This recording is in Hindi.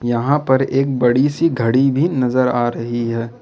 यहां पर एक बड़ी सी घड़ी भी नजर आ रही है।